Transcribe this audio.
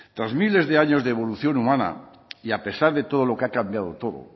tras miles de años de evolución humana y a pesar de todo lo que ha cambiado todo